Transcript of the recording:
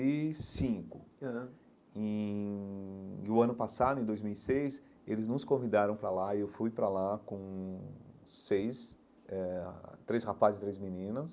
E cinco aham em o ano passado, em dois mil e seis, eles nos convidaram para lá e eu fui para lá com seis, eh três rapazes e três meninas.